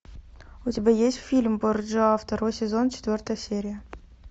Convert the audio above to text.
у тебя есть фильм борджиа второй сезон четвертая серия